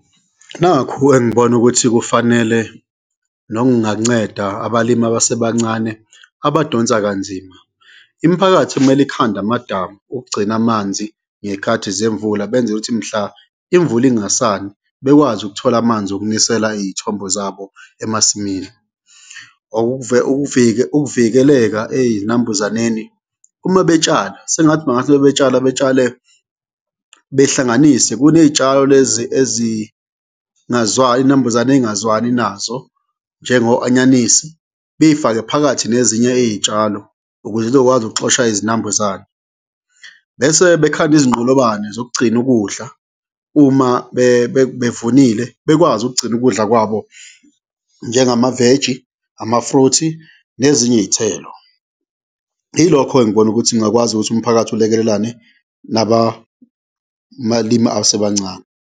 Nakhu engibona ukuthi kufanele nokunganceda abalimi abasebancane abadonsa kanzima, imiphakathi kumele ikhande amadamu ukugcina amanzi ngey'khathi zemvula, benzela ukuthi mhla imvula ingasani, bekwazi ukuthola amanzi okunisela iy'thombo zabo emasimini. Ukuvikeleka ey'nambuzaneni, uma betshala sengathi bangathi ma betshala betshale behlanganise, kuney'tshalo lezi izinambuzane ey'ngazwani nazo njengo anyanisi, bey'fake phakathi nezinye iy'tshalo ukuze zizokwazi okuxosha izinambuzane bese bekhande izinqolobane zokugcina ukudla, uma bevunile bekwazi ukugcina ukudla kwabo njengamaveji, amafruthi nezinye iy'thelo, yilokho engibona ukuthi ngingakwazi ukuthi umphakathi ulekelelane nababalimi abasebancane.